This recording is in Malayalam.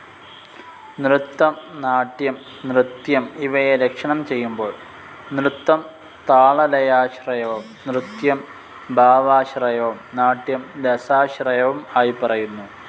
നൃത്തം നാട്യം നൃത്യം ഇവയെ ലക്ഷണം ചെയ്യുമ്പോൾ നൃത്തം താളലയാശ്രയവും നൃത്യം ഭാവാശ്രയവും നാട്ട്യം രസാശ്രയവും ആയി പറയുന്നു.